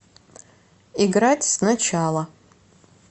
играть сначала